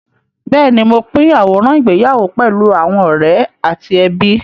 Bẹ́ẹ̀ni, mo pín àwòrán ìgbéyàwó pẹ̀lú àwọn ọ̀rẹ́ àti ẹbí.